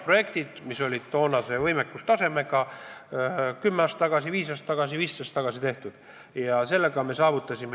Need on toonase võimekustasemega arendusprojektid, mis tehti 5 aastat tagasi, 10 aastat tagasi, 15 aastat tagasi.